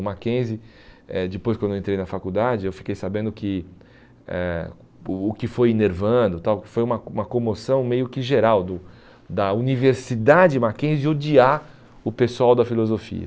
O Mackenzie, eh depois quando eu entrei na faculdade, eu fiquei sabendo que eh o o que foi enervando tal, foi uma como uma comoção meio que geral do da Universidade Mackenzie odiar o pessoal da filosofia.